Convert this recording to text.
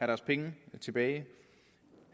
deres penge tilbage